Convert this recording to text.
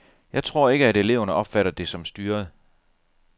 Jeg tror ikke, at eleverne opfatter det som styret.